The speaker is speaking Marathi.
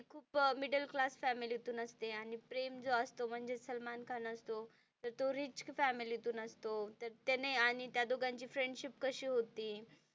खूप मिडल क्लास फॅमिली तुन असते आणि प्रेम जो असतो म्हणजे सलमान खान असतो तर तो रिच फॅमिली तुन असतो तर त्याने आणि त्या दोघांची फ्रेंडशिप कशी होती.